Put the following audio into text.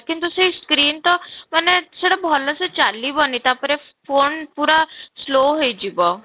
କିନ୍ତୁ ସେଇ screen ତ ମାନେ ସେଇଟା ଭଲ ସେ ଚାଲିବନି ତା'ପରେ phone ପୁରା slow ହେଇଯିବ